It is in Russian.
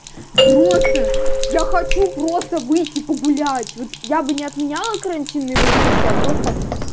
просто я хочу просто выйти погулять вот я бы не отменяла карантин на его месте а просто